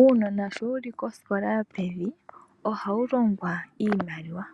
Uunona sho wuli kosikola yopevi ohawu longwa iimaliwa.